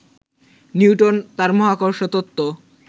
Newton তার মহাকর্ষ তত্ত্ব